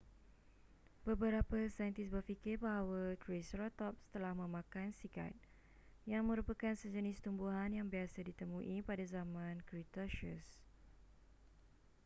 beberapa saintis berfikir bahawa triceratops telah memakan cycad yang merupakan sejenis tumbuhan yang biasa ditemui pada zaman cretaceous